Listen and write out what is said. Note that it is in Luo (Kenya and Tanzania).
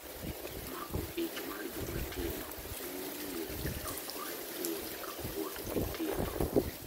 Mako ich mar joma tindo miyo nyiri lokore mon kapod gi tindo.